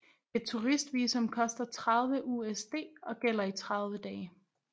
Et turist visum koster 30 USD og gælder i 30 dage